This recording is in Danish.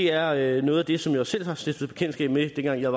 er er noget af det som jeg selv har stiftet bekendtskab med dengang jeg